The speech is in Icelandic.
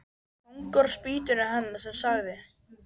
Kóngur á spýtunni hennar sem sagði: